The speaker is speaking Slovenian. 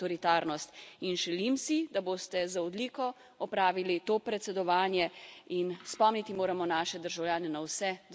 In želim si, da boste z odliko opravili to predsedovanje, in spomniti moramo naše državljane na vse dosežke Unije.